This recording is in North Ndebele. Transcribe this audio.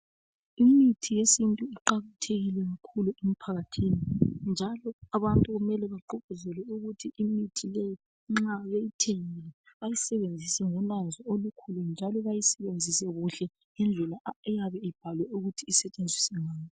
Imithi yesintu iqakathekile kakhulu emphakathini njalo abantu kumele bagqugquzelwe ukuthi imithi leyi nxa betithengile bayisebenzise ngolwazi olukhulu njalo beyisebenzise kuhle ngedlela eyabe ibhalwe ukuthi isetshenziswa ngayo.